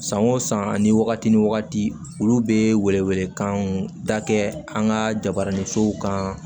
San o san ani wagati ni wagati olu bɛ welewelekanw da kɛ an ka jabaranin sow kan